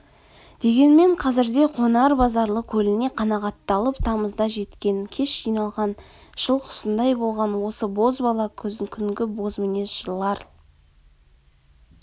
дегенмен қазірде қонар базарлы көліне қанағатталып тамызда жеткен кеш жиналған жыл құсындай болған осы бозбала күнгі бозмінез жырлар